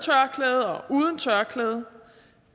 tørklæde